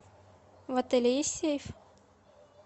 в отеле есть сейф